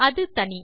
அது தனி